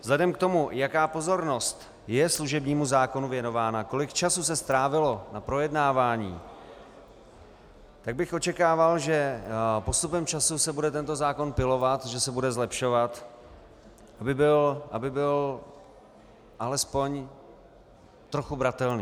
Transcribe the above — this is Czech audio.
Vzhledem k tomu, jaká pozornost je služebnímu zákonu věnována, kolik času se strávilo na projednávání, tak bych očekával, že postupem času se bude tento zákon pilovat, že se bude zlepšovat, aby byl alespoň trochu bratelný.